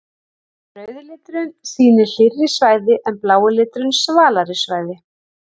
Rauði liturinn sýnir hlýrri svæði en blái liturinn svalari svæði.